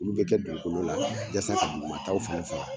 Olu bɛ kɛ dugukolo la yasa ka duguataw fana faga.